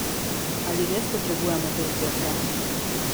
Ali res potrebujemo te izdelke?